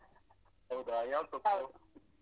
ಹೌದಾ ಯಾವ್ ಸೊಪ್ಪು?